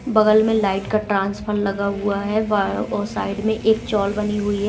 बगल में लाइट का ट्रांसफर लगा हुआ है और साइड में एक चौल बनी हुई है।